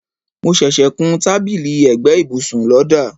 mo ṣẹṣẹ kún tábìlì ẹ̀gbẹ́ ibùsùn lọ́dà